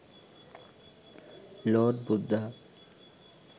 lord buddha